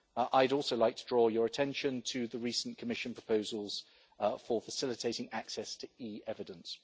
I'd also like to draw your attention to the recent Commission proposals for facilitating access to e-evidence.